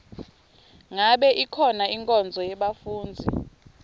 ngabe ikhona inkonzo yebafundzi